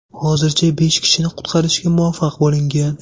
Hozircha besh kishini qutqarishga muvaffaq bo‘lingan.